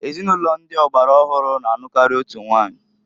Ezinụlọ ndi ọgbara ọhụrụ na anụkari otu nwanyi.